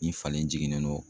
Ni falen jiginnen don.